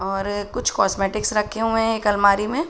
और कुछ काॅस्मेटिक्स रखे हुए हैं एक अलमारी में।